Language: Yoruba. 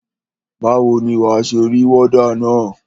Báwo ni wà á ṣe rí wọ́dà na?